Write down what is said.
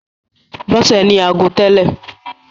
Bọ́sè ní ago tẹ́lè.